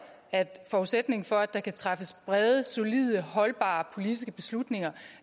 at forudsætningen for at der kan træffes brede solide holdbare politiske beslutninger